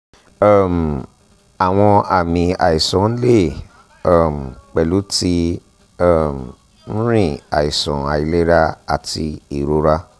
um awọn aami aisan le um pẹlu ti um nrin aiṣan ailera ati irora